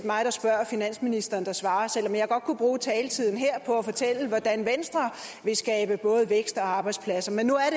mig der spørger og finansministeren der svarer selv om jeg godt kunne bruge taletiden her på at fortælle hvordan venstre vil skabe både vækst og arbejdspladser men nu er